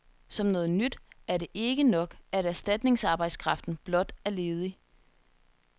Som noget nyt, er det ikke nok, at erstatningsarbejdskraften blot er ledig.